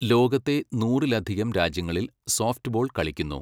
ലോകത്തെ നൂറിലധികം രാജ്യങ്ങളിൽ സോഫ്റ്റ്ബോൾ കളിക്കുന്നു.